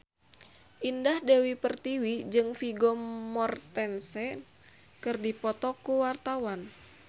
Indah Dewi Pertiwi jeung Vigo Mortensen keur dipoto ku wartawan